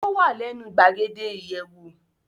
Ó wà lẹ́nu gbàgede ìyẹ̀wò.